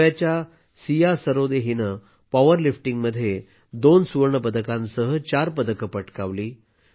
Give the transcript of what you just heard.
गोव्याच्या सिया सरोदे यांनी पॉवरलिफ्टिंगमध्ये 2 सुवर्ण पदकांसह चार पदके पटकावली